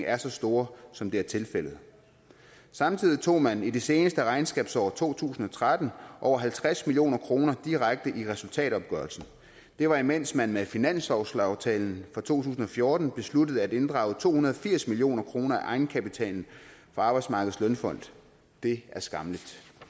er så stort som det er tilfældet samtidig tog man i det seneste regnskabsår to tusind og tretten over halvtreds million kroner direkte i resultatopgørelsen det var imens man med finanslovsaftalen for to tusind og fjorten besluttede at inddrage to hundrede og firs million kroner af egenkapitalen for arbejdsmarkedets feriefond det er skammeligt